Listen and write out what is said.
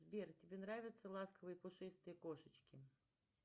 сбер тебе нравятся ласковые пушистые кошечки